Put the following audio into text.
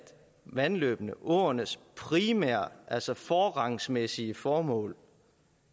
vandløbenes åernes primære altså forrangsmæssige formål